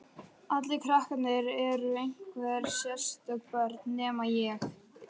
Allir krakkarnir eru einhver sérstök börn, nema ég.